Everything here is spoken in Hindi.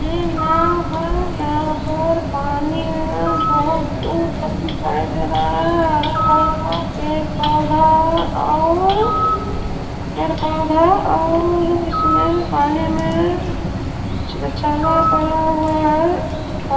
ये नाव है। यहाँ पर पानी है। बहोत दूर तक दिखाई दे रहा है। हरा भरा पेड़ पौधा और पेड़ पौधा और इसमें पानी में पड़ा हुआ है। का --